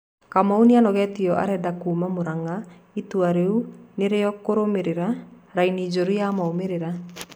Kamau nĩanogetio arenda kuma Muranga itũa rĩu nĩ rĩroyiro kũrũmĩrira raini njũru ya moimĩrĩra